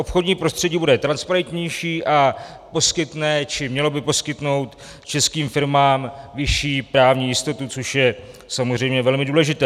Obchodní prostředí bude transparentnější a poskytne, či mělo by poskytnout českým firmám vyšší právní jistotu, což je samozřejmě velmi důležité.